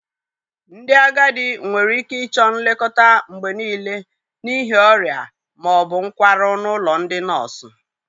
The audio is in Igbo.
Ndị agadi nwere ike ịchọ nlekọta mgbe niile n'ihi ọrịa ma ọ bụ nkwarụ n'ụlọ ndị nọọsụ.